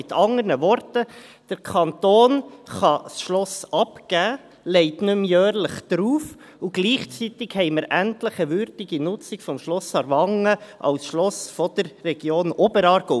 Mit anderen Worten: Der Kanton kann das Schloss abgeben, legt nicht mehr jährlich drauf, und gleichzeitig haben wir endlich eine würdige Nutzung des Schlosses Aarwangen als Schloss der Region Oberaargau.